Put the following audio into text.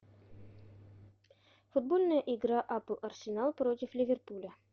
футбольная игра апл арсенал против ливерпуля